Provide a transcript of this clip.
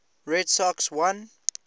red sox won